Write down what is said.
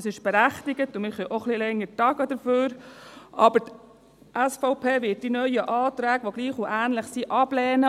Dies ist berechtigt und wir können dafür auch etwas länger tagen, aber die SVP wird die neuen Anträge, die gleich oder ähnlich sind, ablehnen.